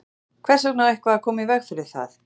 Hvers vegna á eitthvað að koma í veg fyrir það?